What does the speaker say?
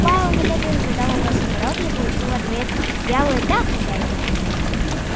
пауэлл немедленно задал вопрос о дороге и получил в ответ вялое да хозяин